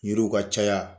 Yiriw ka caya